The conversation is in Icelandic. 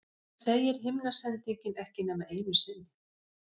En það segir himnasendingin ekki nema einu sinni.